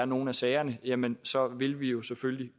nogle af sagerne er jamen så vil vi jo selvfølgelig